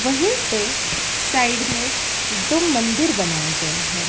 वहीं पे साइड में दो मंदिर बनाए गए हैं।